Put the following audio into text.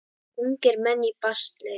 Ungir menn í basli.